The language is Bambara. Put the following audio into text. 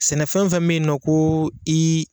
Sɛnɛfɛn o fɛn mɛ ye nɔ ko i